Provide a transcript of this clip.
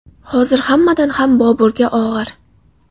Hozir hammadan ham Boburga og‘ir.